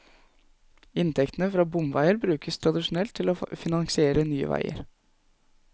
Inntektene fra bomveier brukes tradisjonelt til å finansiere nye veier.